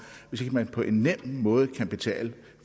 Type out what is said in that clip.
hvis man ikke på en nem måde kan betale